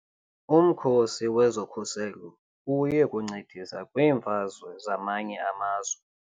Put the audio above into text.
Umkhosi wezokhuselo uye kuncedisa kwiimfazwe zamanye amazwe.